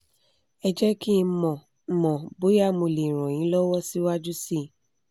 ẹ jẹ́ kí n mọ̀ n mọ̀ bóyá mo lè ràn yín lọ́wọ́ síwájú sí i